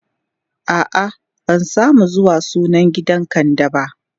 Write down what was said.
a'a ban samu zuwa sunan gidan kande ba